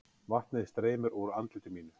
Vatnið streymir úr andliti mínu.